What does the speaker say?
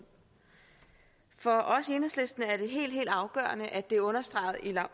for os i enhedslisten er det helt helt afgørende at det er understreget